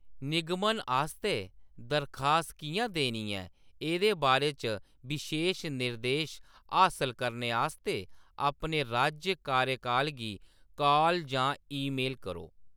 निगमन आस्तै दरखास्त किʼयां देनी ऐ एह्‌‌‌दे बारे च बशेश निर्देश हासल करने आस्तै अपने राज्य कार्यालय गी कॉल जां ईमेल करो।